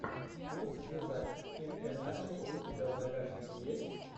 курцгезагт ин э натшел у тебя в загашнике есть